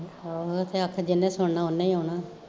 ਆਹੋ ਹੋਰ ਜਿਨੇ ਸੁਣਨਾ ਓਨੇ ਈ ਆਉਣਾ